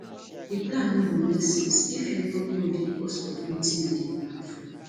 d plan no go make sense if you no know di cost of wetin you dey plan for